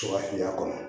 To ka fili n'a kɔnɔ